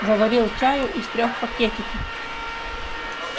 заварил чаю из трёх пакетиков